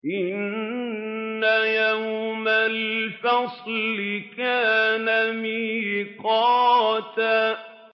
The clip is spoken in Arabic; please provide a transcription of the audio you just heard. إِنَّ يَوْمَ الْفَصْلِ كَانَ مِيقَاتًا